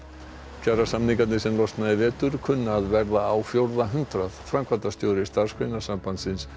kjarasamningarnir sem losna í vetur kunna að verða á fjórða hundrað framkvæmdastjóri Starfsgreinasambandsins